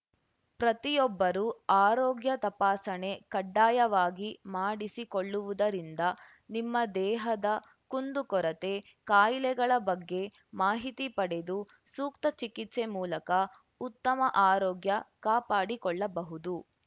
ಪ್ರತಿಯೊಬ್ಬರು ಆರೋಗ್ಯ ತಪಾಸಣೆ ಕಡ್ಡಾಯವಾಗಿ ಮಾಡಿಸಿಕೊಳ್ಳವುದರಿಂದ ನಿಮ್ಮ ದೇಹದ ಕುಂದುಕೊರತೆ ಕಾಯಿಲೆಗಳ ಬಗ್ಗೆ ಮಾಹಿತಿ ಪಡೆದು ಸೂಕ್ತ ಚಿಕಿತ್ಸೆ ಮೂಲಕ ಉತ್ತಮ ಆರೋಗ್ಯ ಕಾಪಾಡಿಕೊಳ್ಳಬಹುದು